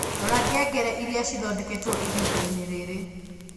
rora ngengere iria cithondeketwo ihinda-inĩ rĩrĩ